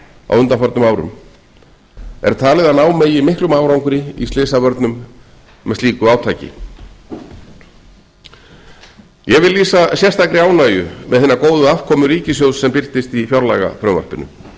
á undanförnum árum er talið að ná megi miklum árangri í slysavörnum með slíku átaki ég vil lýsa sérstakri ánægju með hina góðu afkomu ríkissjóðs sem birtist í fjárlagafrumvarpinu hún er